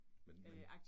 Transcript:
Men men